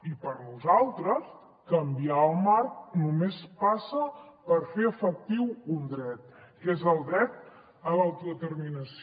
i per nosaltres canviar el marc només passa per fer efectiu un dret que és el dret a l’autodeterminació